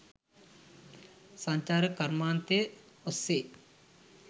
සංචාරක කර්මාන්තය ඔස්සේ